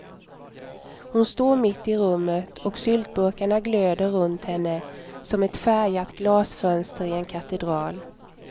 Hon står mitt i rummet och syltburkarna glöder runt henne, som ett färgat glasfönster i en katedral.